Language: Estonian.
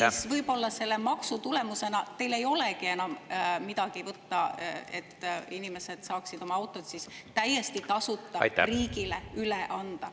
… siis võib-olla selle maksu tulemusena teil ei olegi enam võtta neid autosid, mida inimesed saaksid täiesti tasuta riigile üle anda.